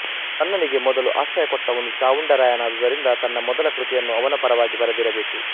ರನ್ನನಿಗೆ ಮೊದಲು ಆಶ್ರಯ ಕೊಟ್ಟವನು ಚಾವುಂಡರಾಯನಾದುದರಿಂದ ತನ್ನ ಮೊದಲ ಕೃತಿಯನ್ನು ಅವನ ಪರವಾಗಿ ಬರೆದಿರಬೇಕು